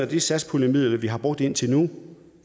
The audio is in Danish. de satspuljemidler vi har brugt indtil nu